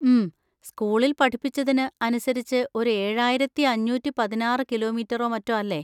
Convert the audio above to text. ഉം, സ്‌കൂളിൽ പഠിപ്പിച്ചതിന് അനുസരിച്ച് ഒരു ഏഴായിരത്തി അഞ്ഞൂറ്റി പതിനാറ് കിലോമീറ്ററോ മറ്റോ അല്ലേ?